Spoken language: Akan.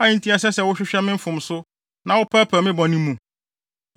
a enti ɛsɛ sɛ wohwehwɛ me mfomso na wopɛɛpɛɛ me bɔne mu?